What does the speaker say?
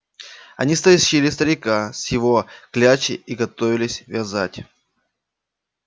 они стащили старика с его клячи и готовились вязать